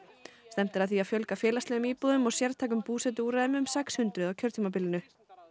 stefnt er að því að fjölga félagslegum íbúðum og sértækum búsetuúrræðum um sex hundruð á kjörtímabilinu